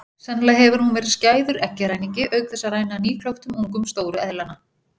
Sennilega hefur hún verið skæður eggjaræningi auk þess að ræna nýklöktum ungum stóru eðlanna.